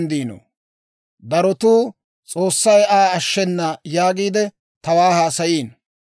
Darotuu, «S'oossay Aa ashshenna» yaagiide tawaa haasayiino.